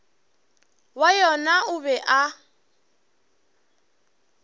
wa yona o be a